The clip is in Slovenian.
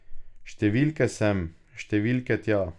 Številke sem, številke tja.